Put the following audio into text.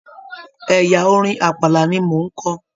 Ẹyà orin Àpàlà ni mo n kọ.